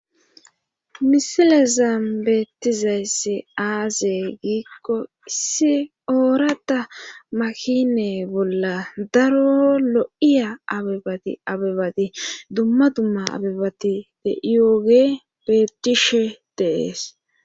misile zaambeettizayssi aaze giikko issi oorata makine bolla daro lo7iya abibati abebati dumma dumma abibati deiyooge beettishe deees